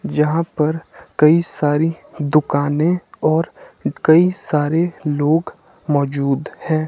जहां पर कई सारी दुकानें और कई सारे लोग मौजूद हैं।